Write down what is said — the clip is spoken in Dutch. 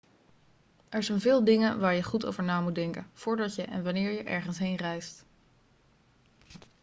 er zijn veel dingen waar je goed over na moet denken voordat je en wanneer je ergens heen reist